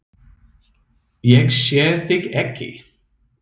Ég sé þig ekki.